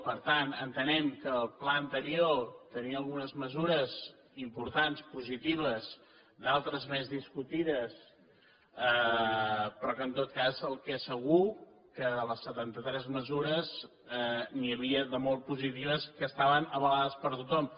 per tant entenem que el pla anterior tenia algunes mesures importants positives d’altres més discutides però en tot cas el que és segur que de les setantatres mesures n’hi havia de molt positives que estaven avalades per tothom